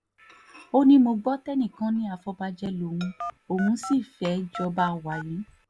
ó ní mo gbọ́ tẹ́nìkan ní àfọ̀bàjẹ́ lòun òun sì fẹ́ẹ́ jọba wàyí